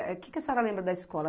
O que que a senhora lembra da escola?